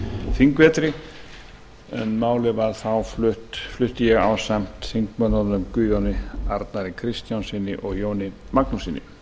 þingvetri en málið flutti ég þá ásamt þingmönnunum guðjóni arnari kristjánssyni og jóni magnússyni